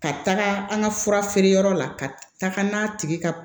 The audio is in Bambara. Ka taga an ka fura feere yɔrɔ la ka taga n'a tigi ka